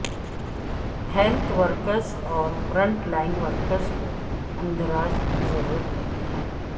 health workers اور front line workers کو اندراج کی ضرورت نہیں ہے